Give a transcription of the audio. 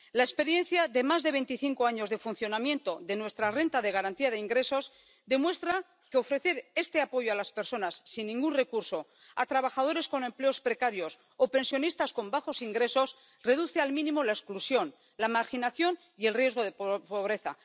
La experiencia de más de veinticinco años de funcionamiento de nuestra renta de garantía de ingresos demuestra que ofrecer este apoyo a las personas sin ningún recurso, a trabajadores con empleos precarios o pensionistas con bajos ingresos reduce al mínimo la exclusión, la marginación y el riesgo de pobreza.